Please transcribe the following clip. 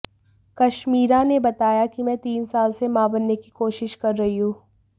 कश्मीरा ने बताया कि मैं तीन साल से मां बनने की कोशिश कर रही हूं